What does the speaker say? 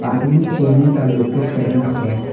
आदमी सोने का लॉकेट पहना हुआ है।